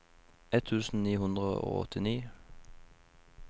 ett tusen ni hundre og åttini